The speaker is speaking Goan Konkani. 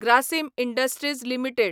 Grasim industries limited